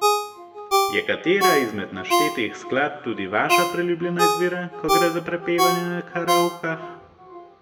Je katera izmed naštetih skladb tudi vaša priljubljena izbira, ko gre za prepevanje na karaokah?